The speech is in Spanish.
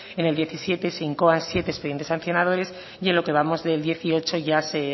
en el diecisiete se incoan siete expedientes sancionadores y en lo que vamos del dieciocho ya se